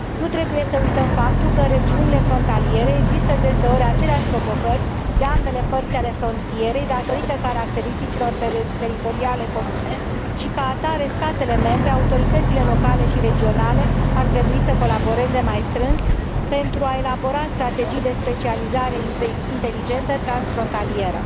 Nu trebuie să uităm faptul că în regiunile frontaliere există deseori aceleași provocări de ambele părți ale frontierei, datorită caracteristicilor teritoriale comune și, ca atare, statele membre, autoritățile locale și regionale ar trebui să colaboreze mai strâns, pentru a elabora strategii de specializare inteligentă transfrontalieră.